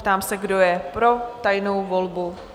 Ptám se, kdo je pro tajnou volbu?